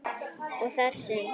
og þar sem